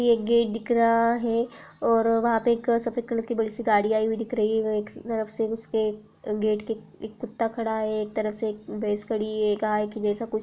ये एक गेट दिख रहा है और वहाँ पे एक सफेद कलर कि बड़ी सी गाड़ी आई हुई दिख रही है। एक तरफ गेट के कुत्ता खड़ा है। एक तरफ से भैंस खड़ी है गाय ऐसा कुछ --